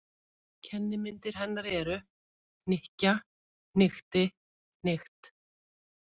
Kennimyndir hennar eru: hnykkja- hnykkti- hnykkt.